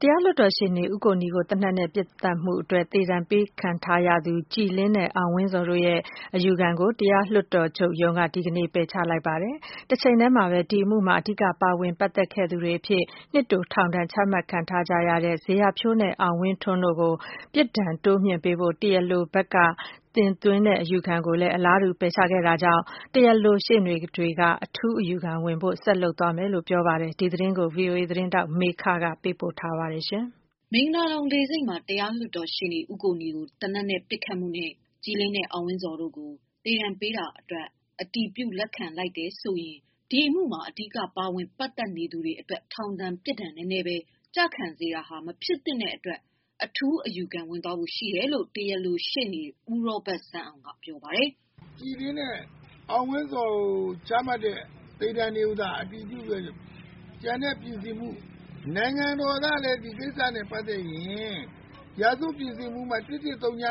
တရားလွှတ်တော်ရှေ့နေ ဦးကိုနီကို သေနတ်နဲ့ ပစ်သတ်ခဲ့မှုနဲ့ သေဒဏ်ပေးခံထားရတဲ့ ကြည်လင်း နဲ့ အောင်ဝင်းဇော် တို့ရဲ့ အယူခံကို တရားလွှတ်တော် ချုပ်ရုံးက ဒီကနေ့ ပယ်ချလိုက်သလို အမှုမှာ အဓိက ပါဝင် ပတ်သက်ခဲ့သူတွေ အဖြစ် နှစ်တိုထောင်ဒဏ်ချမှတ်ခံထားရတဲ့ ဇေယျာဖြိုးနဲ့ အောင်ဝင်းထွန်းတို့ အတွက် ပြစ်ဒဏ်တိုးမြှင့်ပေးဖို့ တရားလိုဘက်က တင် သွင်းတဲ့ အယူခံကိုပါ ပယ်ချခဲ့ပါတယ်။ တရားလိုဘက်က ရှေ့နေတွေက တော့ အထူးအယူခံဝင်ဖို့ ဆက်လုပ်သွားမယ်လို့ ပြောပါတယ်။ ဒီသတင်းကို ဗွီအိုအေသတင်းထောက်မေခက ပေးပို့ထားပါတယ်။ မင်္ဂလာဒုံလေဆိပ်မှာ တရားလွှတ်တော်ရှေ့နေ ဦးကိုနီကို သေနတ်နဲ့ ပစ်သတ်ခဲ့မှုနဲ့ ကြည်လင်း နဲ့ အောင်ဝင်းဇော် တို့ကို သေဒဏ်ပေးတာအတွက် အတည်ပြုလက်ခံလိုက်တယ် ဆိုရင် ဒီအမှုမှာ အဓိက ပါဝင် ပတ်သက်နေသူတွေ အတွက် ထောင်ဒဏ် ပြစ်ဒဏ်နည်းနည်းပဲ ကျခံစေတာဟာ မဖြစ်သင့်တဲ့အတကွ် အထူးအယူခံ ဝင်သွားဖို့ ရှိတယ်လို့ တရားလိုရှေ့နေ ဦးရောဘတ်စန်းအောင်က ပြောပါတယ်။ “ ကြည်လင်းနဲ့ အောင်ဝင်းဇော်ကို ချမှတ်တဲ့ သေဒဏ်တွေကို သာ အတည်ပြုခဲ့ရင် ကျန်တဲ့ ပြင်ဆင်မှု နိုင်ငံတော်ကလည်း ဒီကိစ္စနဲ့ ပတ်သက်ရင် ရာဇဝတ်ပြင်ဆင်မှု ပုဒ်မ ၁၁၀၂ ဇေယျာ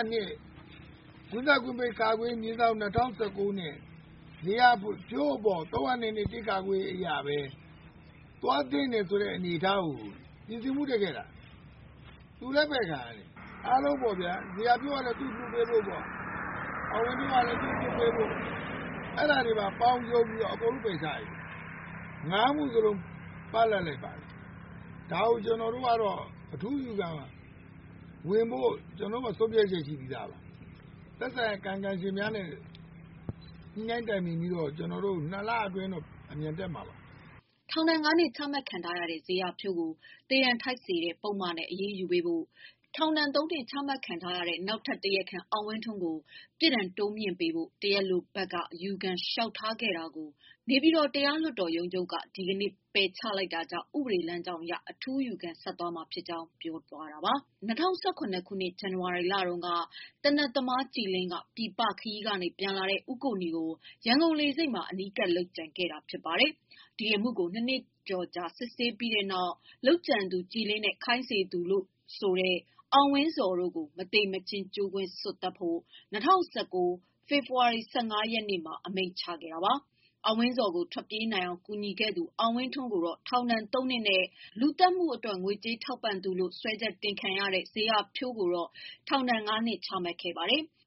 ဖြိုးအပေါ် ၃၀၂ အရ ပဲ သွားသင့်တယ်ဆိုတဲ့ အနေအထား ကို ပြင်ဆင်မှုတက်ခဲ့တာ ။ အခုလည်း ပယ်ခံရတယ်။ အားလုံးပေါ့ဗျာ ဇေယျာဖြိုးကတော့ သူ့ကို လွှတ်ပေးဖို့ပေါ့ အောင်ဝင်းဇော်ကလည်း လွှတ်ပေးဖု့ိ အဲ့ဒါတွေပါ ပေါင်းပြီးတော့ အားလုံး ပယ်ချလိုက်တာ ၅ မှုလုံး ပ လပ်လိုက်ပါတယ်။ ဒါကို ကျွန်တော်တို့ကတော့ အထူးအယူခံဝင်ဖို့ ကျွန်တော်တို့ မှာ ဆုံးဖြတ်ချက် ရှိပြီးသားပါ။ သက်ဆိုင်ရာ ကာယံကံရှင်များနဲ့ ညှိနှိုင်း တိုင်ပင်ပြီးတော့ ကျွန်တော်တို့ ၂ လ အတွင်း အမြန်တက်မှာပါ။” ထောင်ဒဏ် ၅ နှစ်ချမှတ်ခံထားရတဲ့ ဇေယျာဖြိုးကို သေဒဏ်ထိုက်စေတဲ့ ပုဒ်မနဲ့ အရေးယူပေးဖို့၊ ထောင်ဒဏ် ၃နှစ်ချမှတ်ခံထားရတဲ့ နောက်ထပ်တရားခံ အောင်ဝင်းထွန်းကို ပြစ်ဒဏ်တိုးမြှင့်ပေးဖို့ တရားလိုဘက်က အယူခံလျှောက်ထားခဲ့တာကို နေပြည်တော် တရားလွှတ်တော်ချုပ်ရုံးက ဒီကနေ့ ပယ်ချလိုက်တာကြောင့် ဥပဒေလမ်းကြောင်းအရ အထူးအယူခံဆက်တင်သွား မှာ ဖြစ်ကြောင်း ပြောတာပါ။ ၂၀၁၇ ခုနှစ် ဇန်ဝါရီလတုန်းက သေနတ်သမား ကြည်လင်းက ပြည်ပခရီး ကနေပြန်လာတဲ့ ဦးကိုနီကိုရန်ကုန်လေဆိပ်မှာ အနီးကပ် လုပ်ကြံခံတာ ဖြစ်ပါတယ်။ ဒီအမှုကို နှစ်နှစ်ကျော်ကြာ စစ်ဆေးပြီးတဲ့နောက် လုပ်ကြံသူ ကြည်လင်းနဲ့ ခိုင်းစေသူလို့ဆိုတဲ့ အောင်ဝင်းဇော် တို့ကို မသေမချင်းကြိုးကွင်းစွပ်သတ်ဖို့၂၀၁၉ ဖေဖော်ဝါရီ ၁၅ ရက်နေ့မှာ အမိန့်ချ ခဲ့ တာပါ။ အောင်ဝင်းဇော်ကို ထွက်ပြေးနိုင်အောင်ကူညီခဲ့သူ အောင်ဝင်းထွန်းကို ထောင်ဒဏ်သုံးနှစ်နဲ့ လူသတ်မှု အတွက်ငွေကြေးထောက်ပံသူလို့ စွဲချက်တင်ခံရတဲ့ ဇေယျာဖြိုး ကိုတော့ ထောင်ဒဏ်ငါးနှစ် ချမှတ်ခဲ့တာပါ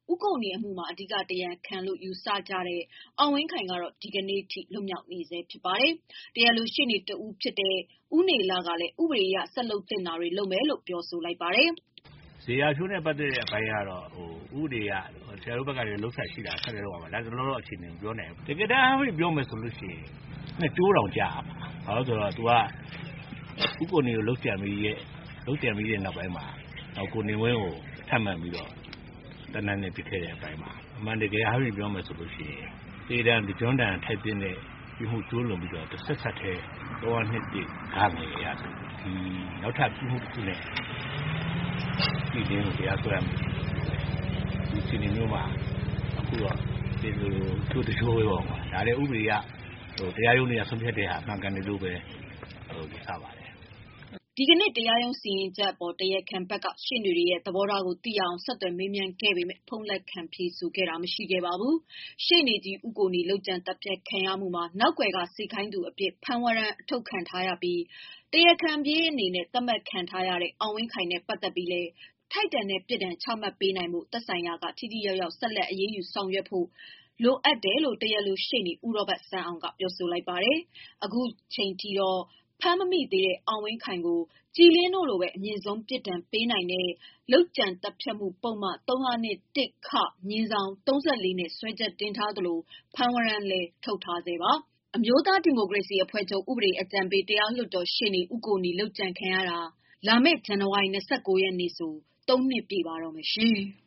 ။ ဦးကိုနီအမှုမှာ အဓိက တရားခံလို့ ယူဆနေကြတဲ့ အောင်ဝင်းခိုင်ကတော့ ဒီကနေ့အထိ လွတ်မြောက်နေဆဲဖြစ်ပါတယ်။ တရားလိုရှေ့နေတဦးဖြစ်တဲ့ ဦးနေလကလည်း ဥပဒေ အရဆက်လုပ်သင့်တာတွေကို လုပ်ရမယ်လို့ ပြောပါတယ်။ “ဇေယျာဖြိုးနဲ့ပတ်သတ်တဲ့ အပိုင်းကတော့ ဥပဒေအရ ဆက်လုပ်သင့်တာ ဆက်လုပ်ရမယ်။ လတ်တလောတော့ အခြေအနေမပြောနိုင်ဘူး။ တကယ်တမ်းပြောရရင်တော့ ၂ကြိုးတောင်ကျရမှာ။ ဦးကိုနီကိုလုပ်ကြံပြီးတော့ကို ကိုနေဝင်းကို ဆက်လုပ်ကြံတယ်။ အမှန်တကယ်အားဖြင့်ပြောရရင်တော့ သေဒဏ်အပြင်ကို တဆက်တည်း ၃၀၂ အရ နောက်ထပ် ပြစ်မှုတခုနဲ့ ကြည်လင်းကိုတရားစွဲရလို့ရပေမယ့် ခုတော့တကြိုးထဲအပြစ်ပေးတော့ ဒါလည်း ဥပဒေအရ တရားရုံးတွေ ဆုံးဖြတ်တာ မှန်ကန်တယ်လို့ ယူဆပါတယ်” ဒီကနေ့ တရားရုံးစီရင်ချက်အပေါ် တရားခံဘက်က ရှေ့နေတွေရဲ့ သဘောထားကို သိရအောင် ဆက်သွယ်မေး မြန်းခဲ့ ပေမယ့် ဖုန်းလက်ခံ ဖြေဆိုတာမရှိခဲ့ပါဘူး။ ရှေ့နေကြီးဦးကိုနီ လုပ်ကြံသတ်ဖြတ်ခံရမှုမှာ နောက်ကွယ်က စေခိုင်းသူအဖြစ် ဖမ်းဝရမ်း အထုတ်ခံထား ရပြီး တရားခံပြေးသတ်မှတ်ခံထားရတဲ့ အောင်ဝင်းခိုင်နဲ့ပတ်သက်ပြီး လည်း ထိုက်တန်တဲ့အပြစ်ဒဏ်ချမှတ် နိုင်ဖို့ သက်ဆိုင်ရာက ထိထိရောက်ရောက် ဆက်လက် အရေးယူ ဆောင်ရွက်ဖို့ သင့်တယ်လို့ တရားလို ရှေ့နေ ဦးရောဘတ်စန်းအောင်က ပြောပါတယ်။ အခုချိန်အထိ ဖမ်းမမိသေးတဲ့ အောင်ဝင်းခိုင်ကို ကြည်လင်းတို့လိုပဲ အမြင့်ဆုံး သေဒဏ်ပေးနိုင်တဲ့ လုပ်ကြံသတ်ဖြတ်မှု ပုဒ်မ / ၃၄ နဲ့စွဲချက် တင်ထားသလို ဖမ်းဝရမ်းလည်း ထုတ်ထားပါတယ်။ အမျိုးသားဒီမိုကရေစီအဖွဲ့ ချုပ် ဥပဒေအကြံ ပေး တရားလွှတ် တော်ရှေ့နေ ဦးကိုနီ ဟာ လုပ်ကြံခံရတာဟာ လာမယ့် ဇန်နဝါရီ ၂၉ ရက်မှာ ၃ နှစ်ပြည့်ပါတော့မယ်။